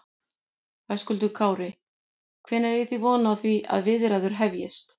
Höskuldur Kári: Hvenær eigi þið von á því að viðræður hefjist?